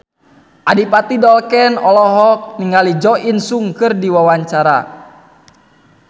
Adipati Dolken olohok ningali Jo In Sung keur diwawancara